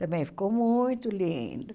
Também ficou muito lindo.